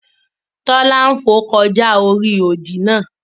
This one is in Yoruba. Tola n fò kọjá ori òdì náà.